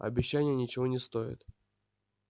обещания ничего не стоят